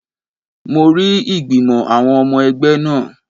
Mo rí ìgbìmò àwọn ọmọ ẹgbẹ́ náà